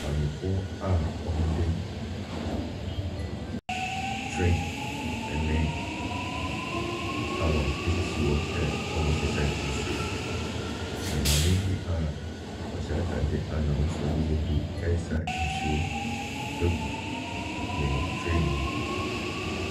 Maamefoɔ a wɔde train ne gallons sisi hɔ sɛ wɔde resesa nsuo, na maame bi a ɔhyɛ atadeɛ a n'ahosuo no yɛ blue resa nsuo agu ne train mu.